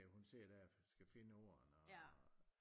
Hun sidder der og skal finde ordene og